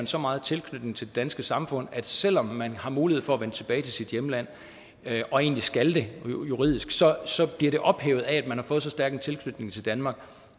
så meget tilknytning til det danske samfund at selv om man har mulighed for at vende tilbage til sit hjemland og egentlig skal gøre det juridisk så bliver det ophævet af at man har fået så stærk en tilknytning til danmark